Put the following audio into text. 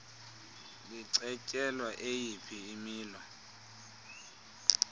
licetyelwa eyiphi imilo